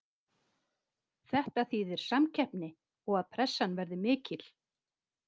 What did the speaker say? Þetta þýðir samkeppni og að pressan verði mikil.